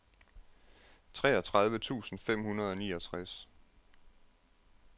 treogtredive tusind fem hundrede og niogtres